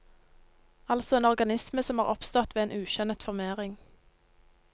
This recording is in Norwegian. Altså en organisme som er oppstått ved en ukjønnet formering.